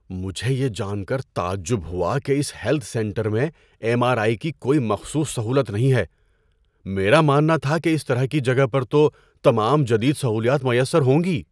مجھے یہ جان کر تعجب ہوا کہ اس ہیلتھ سنٹر میں ایم آر آئی کی کوئی مخصوص سہولت نہیں ہے۔ میرا ماننا تھا کہ اس طرح کی جگہ پر تو تمام جدید سہولیات میسر ہوں گی۔